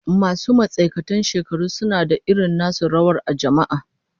Masu matsakaitan shekaru suna da irin nasu rawar a jama'a